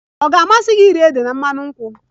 Ọ ga-amasị gị iri ede na mmanụ nkwụ?